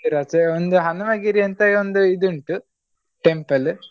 ಒಂದು ಹನುಮಗಿರಿಯಂತ ಒಂದು ಇದು ಉಂಟು temple .